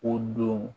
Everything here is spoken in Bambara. O don